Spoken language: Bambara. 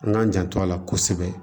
An k'an janto a la kosɛbɛ